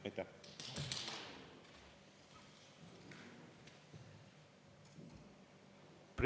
Aitäh!